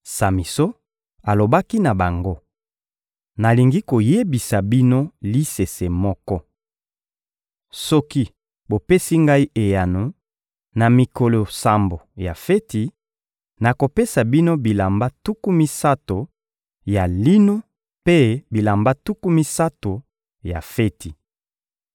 Samison alobaki na bango: — Nalingi koyebisa bino lisese moko. Soki bopesi ngai eyano, na mikolo sambo ya feti, nakopesa bino bilamba tuku misato ya lino mpe bilamba tuku misato ya feti.